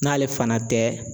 N'ale fana tɛ